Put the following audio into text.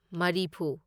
ꯃꯔꯤꯐꯨ